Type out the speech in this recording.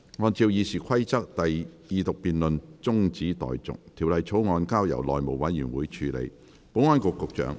按照《議事規則》，二讀辯論中止待續，條例草案交由內務委員會處理。